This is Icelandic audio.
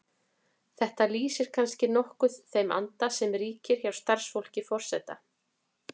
Þetta lýsir kannski nokkuð þeim anda sem ríkir hjá starfsfólki forseta.